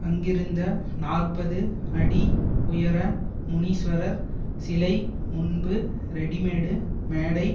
அங்கிருந்த நாற்பது அடி உயர முனிஸ்வரர் சிலை முன்பு ரெடிமேடு மேடை